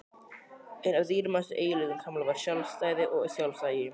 Einn af dýrmætustu eiginleikum Kamillu var sjálfstæði og sjálfsagi.